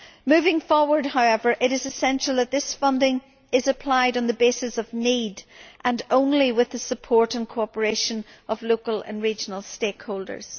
Moving forward, however, it is essential that this funding be applied on the basis of need, and only with the support and cooperation of local and regional stakeholders.